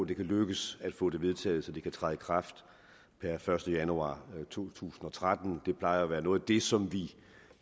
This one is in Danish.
det kan lykkes at få det vedtaget så det kan træde i kraft per første januar to tusind og tretten det plejer at være noget af det som vi